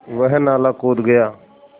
वह नाला कूद गया